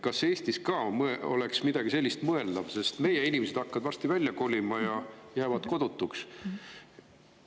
Kas Eestis oleks ka midagi sellist mõeldav, sest meie inimesed hakkavad varsti välja kolima ja jäävad kodutuks?